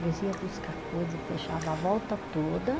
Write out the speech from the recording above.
Eles ia buscar coisa e fechava a volta toda.